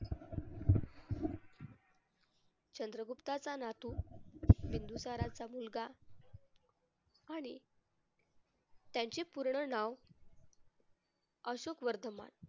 चंद्रगुप्ताचा नातू बिंदुसाराचा मुलगा आणि त्यांचे पूर्ण नाव अशोक वर्धमान.